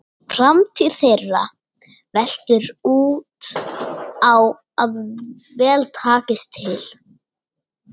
Framtíð þeirra veltur á að vel takist til.